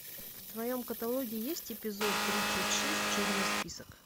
в твоем каталоге есть эпизод тридцать шесть черный список